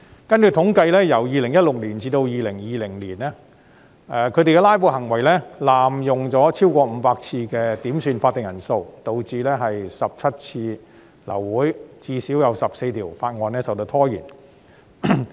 根據統計，由2016年至2020年，他們的"拉布"行為濫用超過500次的點算法定人數程序，導致17次流會，最少14項法案受到拖延。